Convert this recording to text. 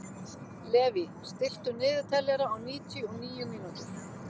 Levý, stilltu niðurteljara á níutíu og níu mínútur.